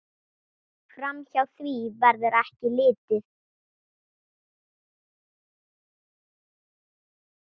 Framhjá því verður ekki litið.